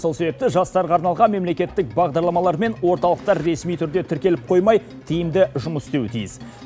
сол себепті жастарға арналған мемлекеттік бағдарламалар мен орталықтар ресми түрде тіркеліп қоймай тиімді жұмыс істеуі тиіс